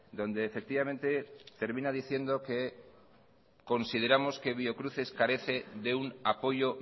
donde efectivamente termina diciendo que consideramos que biocruces carece de un apoyo